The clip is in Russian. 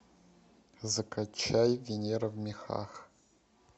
закачай венера в мехах